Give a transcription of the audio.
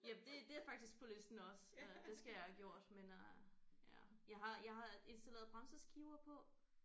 Ja det det er faktisk på listen også øh det skal jeg have gjort men øh ja jeg har jeg har installeret bremseskiver på